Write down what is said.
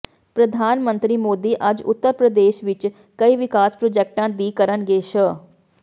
ਪ੍ਰਧਾਨ ਮੰਤਰੀ ਮੋਦੀ ਅੱਜ ਉੱਤਰ ਪ੍ਰਦੇਸ਼ ਵਿਚ ਕਈ ਵਿਕਾਸ ਪ੍ਰਾਜੈਕਟਾਂ ਦੀ ਕਰਨਗੇ ਸ਼